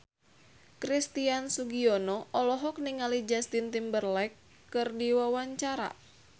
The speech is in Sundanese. Christian Sugiono olohok ningali Justin Timberlake keur diwawancara